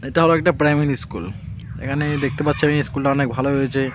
এটাও একটা primary school এখানে দেখতে পাচ্ছি আমি স্কুলটি অনেক ভালো হয়েছে .